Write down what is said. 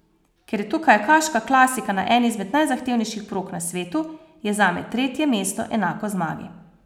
Ker je to kajakaška klasika na eni izmed najzahtevnejših prog na svetu, je zame tretje mesto enako zmagi.